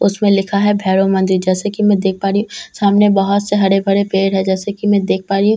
उसमें लिखा है भैरव मंदिर जैसे कि‍ मैं देख पा रही हूं सामने बहुत से हरे-भरे पेड़ है जैसे कि‍ मैं देख पा रही हूं पी--